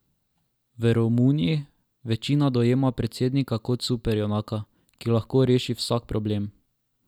V Romuniji večina dojema predsednika kot superjunaka, ki lahko reši vsak problem.